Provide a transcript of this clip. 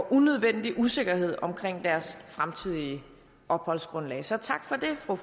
unødvendig usikkerhed om deres fremtidige opholdsgrundlag så tak for